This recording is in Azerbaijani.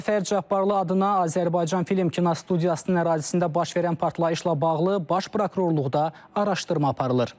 Cəfər Cabbarlı adına Azərbaycan Film Kinostudiyasının ərazisində baş verən partlayışla bağlı Baş Prokurorluqda araşdırma aparılır.